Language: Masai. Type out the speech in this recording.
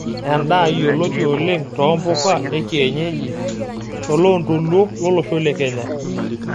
Endaa yioloti oleng too mpuka ekienyeji toloondoluo lolosho le kenya.